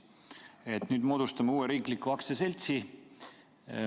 Me nüüd moodustame uue riikliku aktsiaseltsi.